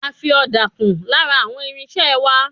A fi ọ̀dà kún lára àwọn irinṣẹ́ẹ wá.